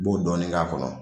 I b'o dɔɔnin ka kɔnɔ